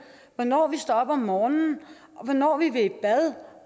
hvornår vi står op om morgenen hvornår vi vil i bad